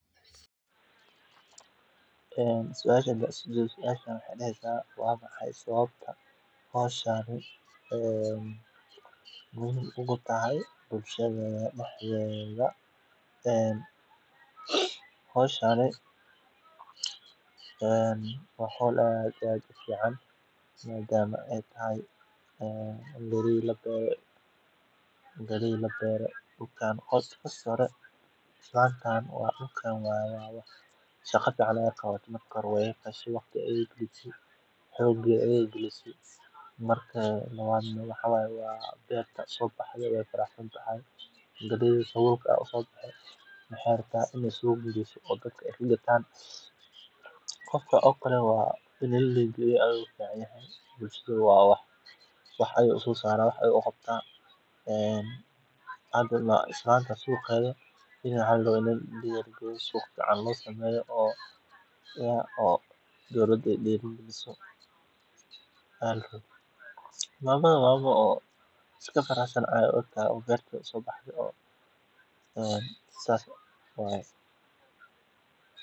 Suasha waxey dahesa waa mahay sababta howshani ay muhim u tahay Waxaa kale muhiim ah in la barto fursadaha shaqo ee jira iyo meelaha laga heli karo. Shaqo raadintu mararka qaar way adkaan kartaa, laakiin haddii qofku muujiyo adkaysi iyo dadaal, fursad fiican ayaa u jirta inuu helo shaqo ku habboon kartidiisa iyo rabitaankiisa.